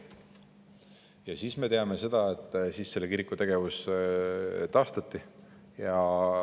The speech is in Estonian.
Ja me teame seda, et siis selle kiriku tegevus taastati.